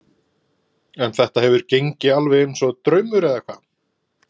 En þetta hefur gengið alveg eins og draumur eða hvað?